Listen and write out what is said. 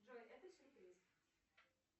джой это сюрприз